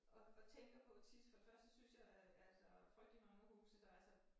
Og og tænker på tit for det første synes at altså frygtelig mange af husene der er så